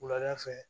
Wulada fɛ